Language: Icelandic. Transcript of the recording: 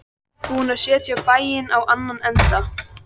Búin að setja bæinn á annan endann.